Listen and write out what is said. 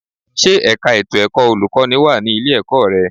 Ṣé ẹ̀ka ètò ẹ̀kọ́ olùkọ́ní wà ní ilé-ẹ̀kọ́ rẹ?